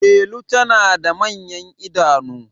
Delu tana da manyan idanu